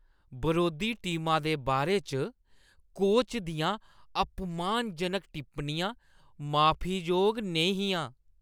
बरोधी टीमा दे बारे च कोच दियां अपमानजनक टिप्पणियां माफी जोग नेईं हियां।